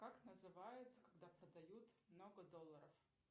как называется когда продают много долларов